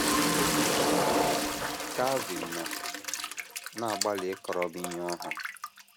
O kwuru, sị: Calvin nọ na - agbalị ịkọrọ m ihe ọ hụrụ.